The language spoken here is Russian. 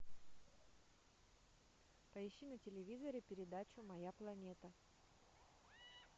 поищи на телевизоре передачу моя планета